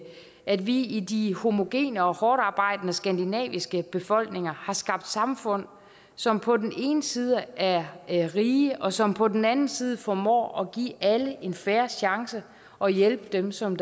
at vi de homogene og hårdtarbejdende skandinaviske befolkninger har skabt samfund som på den ene side er er rige og som på den anden side formår at give alle en fair chance og hjælpe dem som